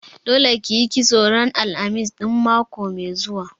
Dole ki yi kitso ran Alhamis ɗin mako mai zuwa!